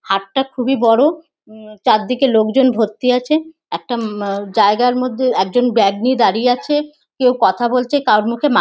হাটটা খুবই বড়ো। উম চারদিকে লোকজন ভর্তি আছে। একটা উম আ জায়গার মধ্যে একজন ব্যাগ নিয়ে দাড়িয়ে আছে। কেউ কথা বলছে কারোর মুখে মা--